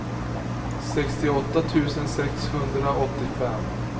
sextioåtta tusen sexhundraåttiofem